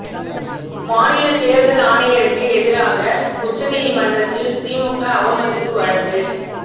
மாநில தேர்தல் ஆணையருக்கு எதிராக உச்ச நீதிமன்றத்தில் திமுக அவமதிப்பு வழக்கு